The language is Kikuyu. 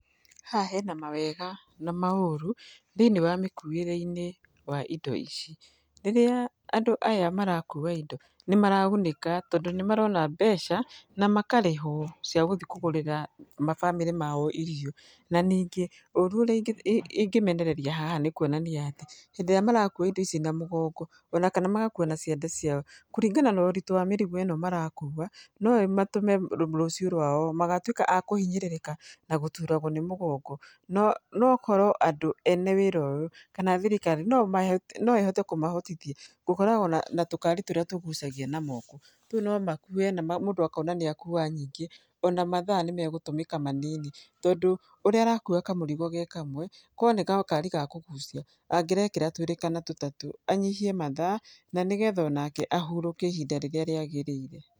Haha hena mawega na maũrũ, thĩiniĩ wa mĩkuĩre-inĩ wa indo ici, rĩrĩa andũ aya marakua indo, nĩ maragunĩka tondũ nĩ marona mbeca, na makarĩhwo cia gũthi kũgũrĩra mabamĩrĩ mao irio. Na ningĩ, ũru ũrĩa ingĩmenereria haha nĩ kuonania, hĩndĩ ĩrĩa marakua indo ici na mũgongo, ona kana magakua na ciande ciao, kũringana na ũritũ wa mĩrigo ĩno marakua, no ĩmatũme rũciũ rwao magatuĩka a kũhinyĩrĩrĩka, na gũturagwo nĩ mũgongo. No okorwo andũ ene wĩra ũyũ, kana thirikari, no ĩhote kũmahotithia, gũkorwo na tũkari tũrĩa tũgucagia na moko. Tũu no makue na mũndũ akona nĩ akua nyingĩ. Ona mathaa nĩ megũtũmĩka manini, tondũ ũrĩa arakua kamũrigo ge kamwe, ko nĩ gakari ga kũgucia, angĩrekĩra twĩrĩ kana tũtatũ, anyihie mathaa, na nĩgetha onake ahurũke ihinda rĩrĩa rĩagĩrĩire.